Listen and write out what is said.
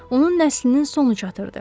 Onun nəslinin sonu çatırdı.